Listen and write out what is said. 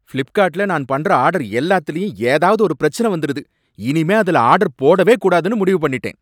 பிளிப்கார்ட்ல நான் பண்ற ஆர்டர் எல்லாத்துலயும் ஏதாவது ஒரு பிரச்சனை வந்திருது, இனிமே அதுல ஆர்டர் போடவே கூடாதுனு முடிவு பண்ணிட்டேன்